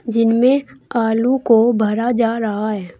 जिनमें आलू को भरा जा रहा है।